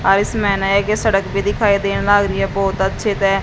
सड़क भी दिखाई दे रही बहुत अच्छे से--